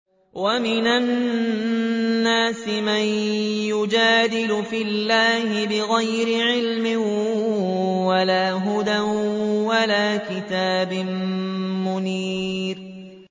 وَمِنَ النَّاسِ مَن يُجَادِلُ فِي اللَّهِ بِغَيْرِ عِلْمٍ وَلَا هُدًى وَلَا كِتَابٍ مُّنِيرٍ